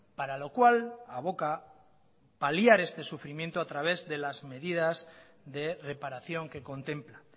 para lo cual aboca paliar este sufrimiento a través de las medidas de reparación que contempla